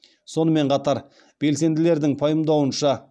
сонымен қатар белсенділердің пайымдауынша